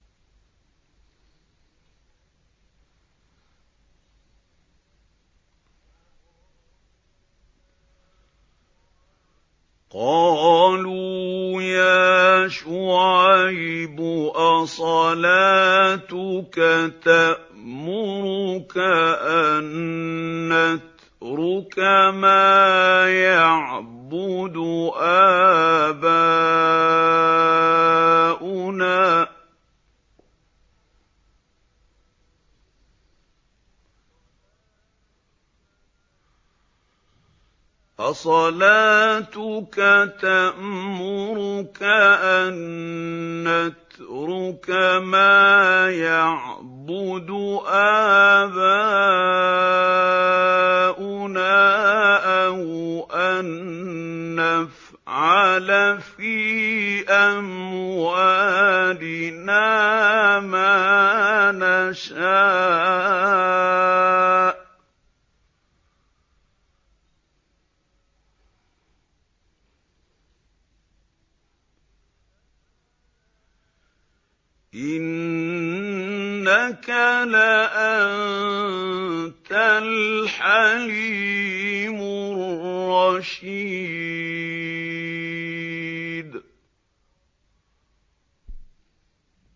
قَالُوا يَا شُعَيْبُ أَصَلَاتُكَ تَأْمُرُكَ أَن نَّتْرُكَ مَا يَعْبُدُ آبَاؤُنَا أَوْ أَن نَّفْعَلَ فِي أَمْوَالِنَا مَا نَشَاءُ ۖ إِنَّكَ لَأَنتَ الْحَلِيمُ الرَّشِيدُ